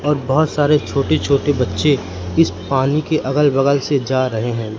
और बहुत सारे छोटे छोटे बच्चे इस पानी के अगल बगल से जा रहे हैं।